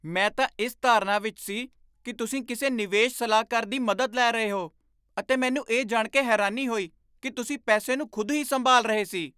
ਮੈਂ ਤਾਂ ਇਸ ਧਾਰਨਾ ਵਿੱਚ ਸੀ ਕਿ ਤੁਸੀਂ ਕਿਸੇ ਨਿਵੇਸ਼ ਸਲਾਹਕਾਰ ਦੀ ਮਦਦ ਲੈ ਰਹੇ ਹੋ ਅਤੇ ਮੈਨੂੰ ਇਹ ਜਾਣ ਕੇ ਹੈਰਾਨੀ ਕੋਈ ਕਿ ਤੁਸੀਂ ਪੈਸੇ ਨੂੰ ਖੁਦ ਹੀ ਸੰਭਾਲ ਰਹੇ ਸੀ।